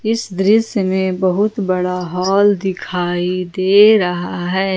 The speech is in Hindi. इस दृश्य में बहुत बड़ा हॉल दिखाई दे रहा है।